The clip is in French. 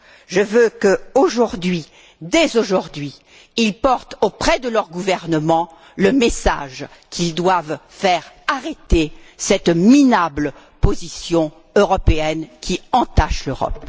Je veux qu'aujourd'hui, dès aujourd'hui, ils portent auprès de leurs gouvernements le message qu'ils doivent faire arrêter cette minable position européenne qui entache l'Europe.